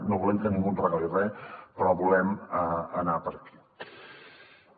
no volem que ningú en regali res però volem anar per aquí